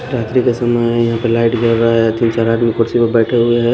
रात्रि का समय है यहां पे लाइट जल रहा है तीन चार आदमी कुर्सी पर बैठे हुए है।